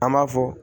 An b'a fɔ